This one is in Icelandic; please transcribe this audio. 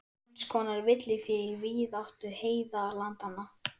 Eins konar villifé í víðáttu heiðalandanna.